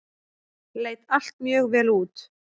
Leit allt mjög vel út.